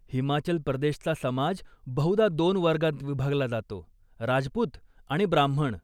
हिमाचल प्रदेशचा समाज बहुदा दोन वर्गात विभागला जातो, राजपूत आणि ब्राम्हण.